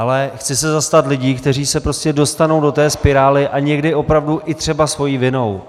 Ale chci se zastat lidí, kteří se prostě dostanou do té spirály a někdy opravdu i třeba svou vinou.